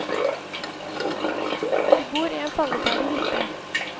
De bor i en falleferdig hytte.